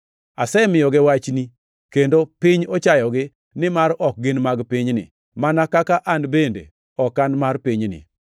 Asemiyogi wachni, kendo piny ochayogi, nimar ok gin mag pinyni, mana kaka an bende ok an mar pinyni.